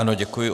Ano, děkuji.